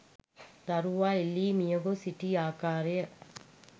දරුවා එල්ලී මියගොස් සිටි ආකාරය